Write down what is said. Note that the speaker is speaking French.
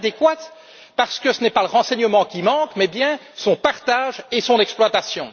Inadéquate, parce que ce n'est pas le renseignement qui fait défaut, mais bien son partage et son exploitation.